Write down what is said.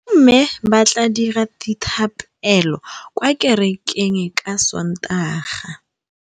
Bommê ba tla dira dithapêlô kwa kerekeng ka Sontaga.